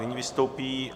Nyní vystoupí...